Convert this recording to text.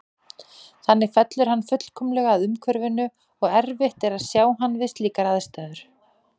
Þannig fellur hann fullkomlega að umhverfinu og erfitt er að sjá hann við slíkar aðstæður.